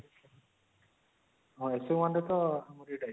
ହଁ essay 1 ରେ ତ ଆମର ଏଇଠୁ ଆସିଥିଲେ